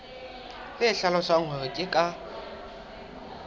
le hlalosang hore ke ka